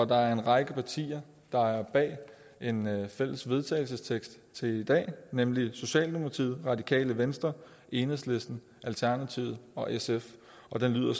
der er en række partier der er bag en fælles vedtagelsestekst til i dag nemlig socialdemokratiet radikale venstre enhedslisten alternativet og sf og den lyder